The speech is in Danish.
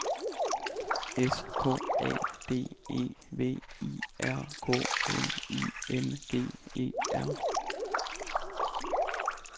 S K A D E V I R K N I N G E R